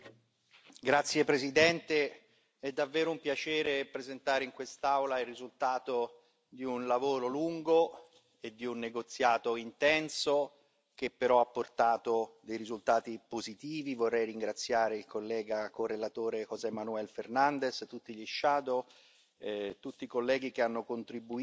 Signor Presidente, onorevoli colleghi, è davvero un piacere presentare in quest'Aula il risultato di un lavoro lungo e di un negoziato intenso che però ha portato risultati positivi. Vorrei ringraziare il collega correlatore José Manuel Fernandes, tutti i relatori ombra e tutti i colleghi che hanno contribuito